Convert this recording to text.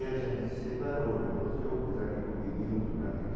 E a gente se separou, divorciou, apesar que convivemos durante